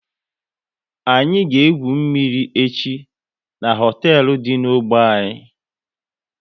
Anyị ga egwu mmiri echi n'hoteelu dị n'ogbe anyị